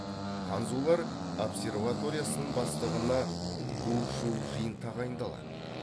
ханзулар обсерваториясының бастығына гу шу жин тағайындалады